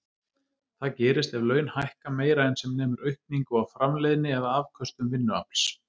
Það gerist ef laun hækka meira en sem nemur aukningu á framleiðni eða afköstum vinnuafls.